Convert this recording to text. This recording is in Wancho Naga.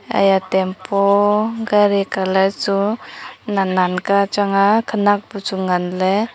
haya tempo gari colour chu nan nan ka chang a khanak bu chu ngan ley.